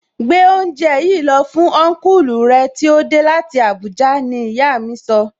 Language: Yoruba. Gbé oúnjẹ yìí lọ fún Ọnkulu rẹ tí ó dé láti Abuja! Ní ìyá mi sọ